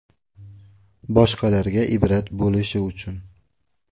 Boshqalarga ibrat bo‘lishi uchun.